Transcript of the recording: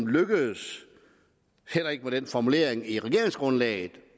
lykkedes heller ikke med den formulering i regeringsgrundlaget